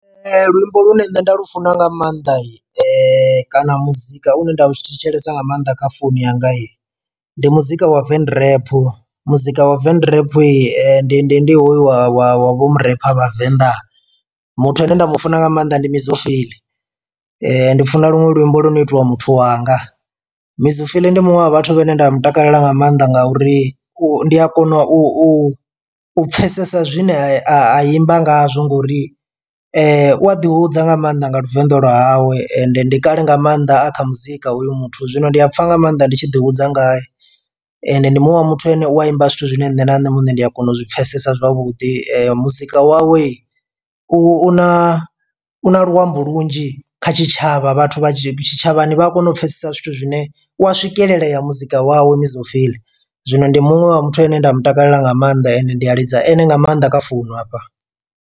Luimbo lune nne nda lufuna nga maanḓa kana muzika u ne nda lu tshi thetshelesa nga maanḓa kha founu yanga ndi muzika wa venrap muzika wa venrap yi ndi ndi hoyu wa wa wa vho murepha vha venḓa, muthu ane nda mu funa nga maanḓa ndi mizo phyll ndi funa luṅwe luimbo lu no itiwa muthu wanga. Mizo phyll ndi muṅwe wa vhathu vhane nda mu takalela nga maanḓa ngauri u ndi a kona u u pfhesesa zwine a imba ngazwo ngori u a ḓi hudza nga maanḓa nga luvenḓa lwa hawe ende ndi kale nga maanḓa a kha muzika oyu muthu zwino ndi a pfha nga maanḓa ndi tshi ḓi hudza ngae ende ndi muṅwe wa muthu ane u a imba zwithu zwine nṋe na nṋe muṋe ndi a kona u zwi pfhesesa zwavhuḓi, muzika wawe u na u na luambo lunzhi kha tshitshavha vhathu vha tshitshavhani vha a kona u pfhesesa zwithu zwine u a swikelelaya muzika wawe mizo phyll, zwino ndi muṅwe wa muthu ane nda mu takalela nga maanḓa ende ndi a lidza ene nga maanḓa kha founu hafha.